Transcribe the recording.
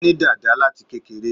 Ó ní dàda láti kékeré